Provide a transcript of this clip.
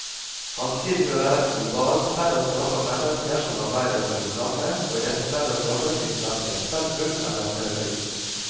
Han tilhører et globalt fellesskap av mennesker som arbeider med det samme, og i dette fellesskapet fins verken sentrum eller periferi.